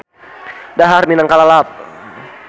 Dahar minangka lalap.